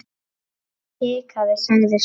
Jón hikaði, sagði svo